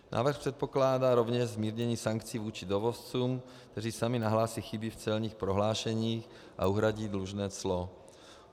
Návrh předpokládá rovněž zmírnění sankcí vůči dovozcům, kteří sami nahlásí chyby v celních prohlášeních a uhradí dlužné clo.